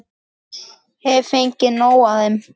Hef fengið nóg af þeim.